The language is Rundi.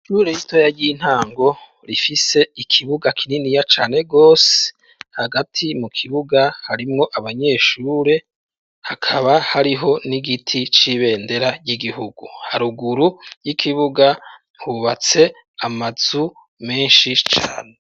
Ishure ritoya, ry'intango, rifise ikibuga kininiya cane rwose, hagati mu kibuga, harimwo abanyeshure, hakaba hariho n'igiti c'ibendera ry'igihugu; haruguru y'ikibuga, hubatse amazu menshi cane.